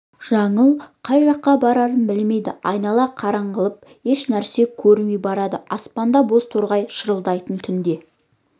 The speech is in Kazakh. жаңыл қай жаққа барарын білмейді айнала қараңғыланып еш нәрсе көрінбей барады аспанда боз торғай шырылдайды түнде